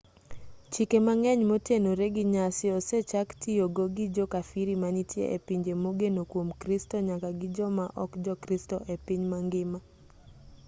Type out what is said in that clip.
chike mang'eny motenore gi nyasi osechaktiyogo gi jo kafiri manitie e pinje mogeno kwom kristo nyaka gi joma ok jokristo e piny mangima